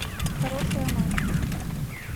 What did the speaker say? хорошая мать